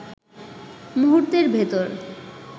মুহূর্তের ভেতর